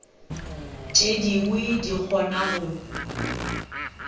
tše dingwe di kgona go